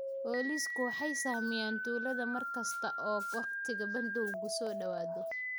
Booliisku waxay sahamiyaan tuulada mar kasta oo wakhtiga bandowgu soo dhawaado.